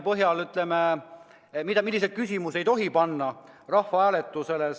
On teada, milliseid küsimusi ei tohi panna rahvahääletusele.